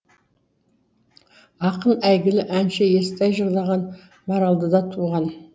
ақын әйгілі әнші естай жырлаған маралдыда туған